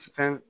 Fɛn